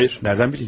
Xeyr, hardan bilim?